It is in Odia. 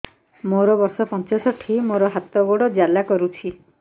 ମୋର ବର୍ଷ ପଞ୍ଚଷଠି ମୋର ହାତ ଗୋଡ଼ ଜାଲା କରୁଛି